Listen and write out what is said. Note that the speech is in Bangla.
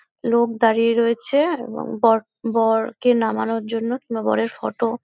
লোক দাড়িয়ে রয়েছে এবং বর বরকে নামানোর জন্য কনে বরের ফটো ।